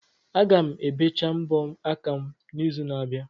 Aga m ebecha mbọ aka m n'izu n'abịa.